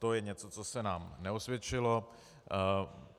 To je něco, co se nám neosvědčilo.